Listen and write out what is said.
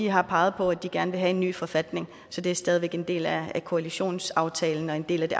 har peget på at de gerne vil have en ny forfatning så det er stadig væk en del af koalitionsaftalen og en del af det